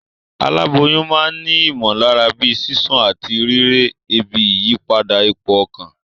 Aláboyún ma n ni ìmòlára bíi sísún àtí rírè, ebi, ìyípadà ipò okàn